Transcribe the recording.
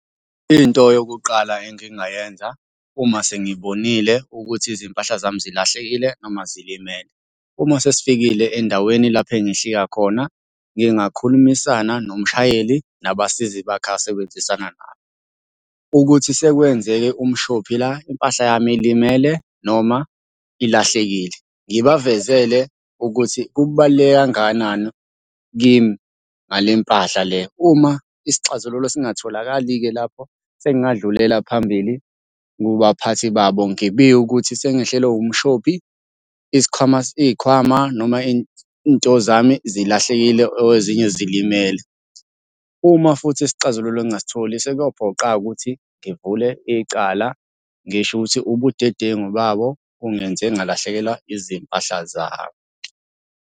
Into yokuqala engingayenza uma sengibonile ukuthi izimpahla zami zilahlekile noma zilimele. Uma sesifikile endaweni lapho engehlika khona, ngingakhulumisana nomshayeli nabasizi bakhe asebenzisana nabo, ukuthi sekwenzeke umshophi la impahla yami ilimele noma ilahlekile. Ngibavezele ukuthi kubaluleke kangakanani kimi ngale mpahla le. Uma isixazululo singatholakali-ke lapho sengingadlulela phambili kubaphathi babo ngibike ukuthi sengehlelwe umshopi, isikhwama, iy'khwama noma iy'nto zami zilahlekile ezinye zilimele. Uma futhi isixazululo ngingasitholi sekuyophoqa-ke ukuthi ngivule icala ngisho ukuthi ubudedengu babo bungenze ngalahlekelwa izimpahla zami.